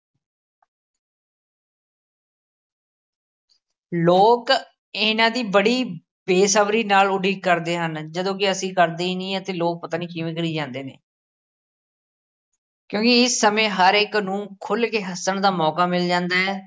ਲੋਕ ਇਹਨਾਂ ਦੀ ਬੜੀ ਬੇਸਬਰੀ ਨਾਲ ਉਡੀਕ ਕਰਦੇ ਹਨ ਜਦੋਂ ਕਿ ਅਸੀ ਕਰਦੇ ਹੀ ਨਹੀਂ ਆ ਅਤੇ ਲੋਕ ਪਤਾ ਨਹੀਂ ਕਿਵੇਂ ਕਰੀ ਜਾਂਦੇ ਨੇ ਕਿਉਕਿ ਇਸ ਸਮੇਂ ਹਰ ਇਕ ਨੂੰ ਖੁੱਲ ਕੇ ਹੱਸਣ ਦਾ ਮੌਕਾ ਮਿਲ ਜਾਂਦਾ ਹੈ।